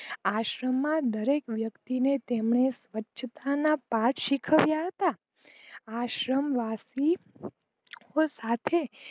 આશ્રમ માં દરેક વ્યક્તી ને સ્વચ્છતા ના પાઠ શીખાવિયા હતા આશ્રમ વાશી સાથે